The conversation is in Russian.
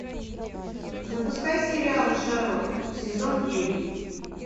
запускай сериал шерлок сезон девять